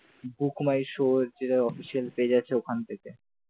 book my show যে official page আছে ওখান থেকে ।